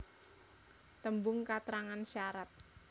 Tembung katrangan syarat